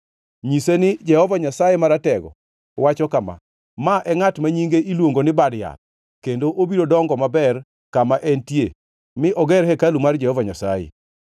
Nyise ni Jehova Nyasaye Maratego wacho kama: ‘Ma e ngʼat ma nyinge iluongo ni Bad Yath, kendo obiro dongo maber kama entie mi oger hekalu mar Jehova Nyasaye.